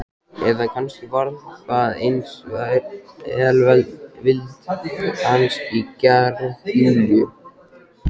Eða kannski var það aðeins velvild hans í garð Júlíu.